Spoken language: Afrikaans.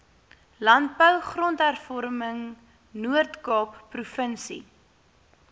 landbou grondhervormingnoordkaap provinsie